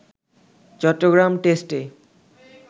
চট্টগ্রাম টেস্টে